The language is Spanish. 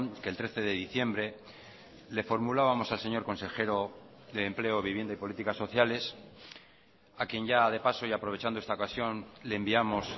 que el trece de diciembre le formulábamos al señor consejero de empleo vivienda y políticas sociales a quién ya de paso y aprovechando esta ocasión le enviamos